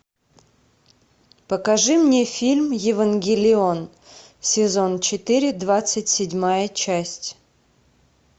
покажи мне фильм евангелион сезон четыре двадцать седьмая часть